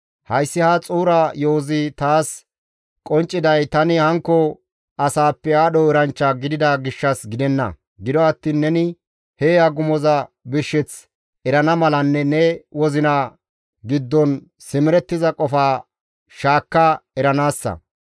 Hayssi ha xuura yo7ozi taas qoncciday tani hankko asaappe aadho eranchcha gidida gishshas gidenna; gido attiin neni he agumoza birsheth erana malanne ne wozina giddon simerettiza qofa shaakka eranaassa.